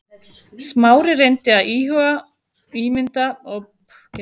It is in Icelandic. Smári reyndi að ímynda sér logandi hljóðfærið en gafst upp.